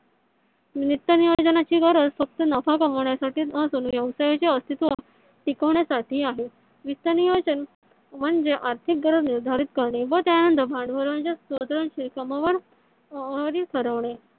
वित्त नियोजन ची गरज फक्त नफा कमवण्यासाठीच नसून व्यवसायाचे अस्तित्व टिकवण्यासाठी आहे. वित्त नियोजन म्हणजे आर्थिक गरज निर्धारित करणे व त्यानंतर भांडवळच्या स्त्रोतनची